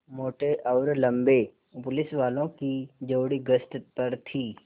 मोटे और लम्बे पुलिसवालों की जोड़ी गश्त पर थी